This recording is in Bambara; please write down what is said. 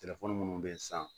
telefɔni minnu bɛ yen sisan